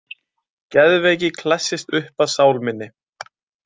Geðveiki klessist upp að sál minni.